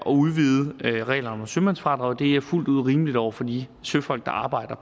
udvide reglerne om sømandsfradraget det er fuldt ud rimeligt over for de søfolk der arbejder